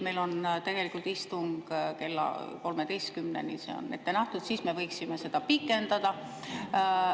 Meil on tegelikult istung kella 13-ni, see on ette nähtud ja siis me võiksime seda pikendada.